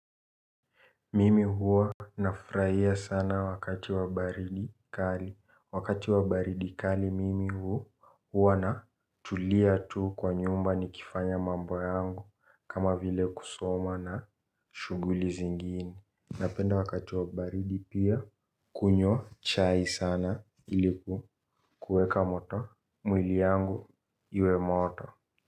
Mimi huwa nafrahia sana wakati wa baridi kali. Wakati wa baridi kali mimi huwa na tulia tu kwa nyumba nikifanya mambo yangu kama vile kusoma na shuguli zingine. Napenda wakati wa baridi pia kunywa chai sana iliku kuweka moto. Mwili yangu iwe moto.